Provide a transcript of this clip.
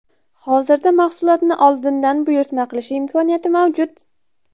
Hozirda mahsulotni oldindan buyurtma qilish imkoniyati mavjud.